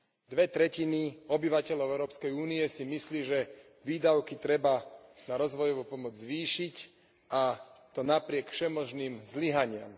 Dve tretiny obyvateľov Európskej únie si myslí, že výdavky treba na rozvojovú pomoc zvýšiť, a to napriek všemožným zlyhaniam.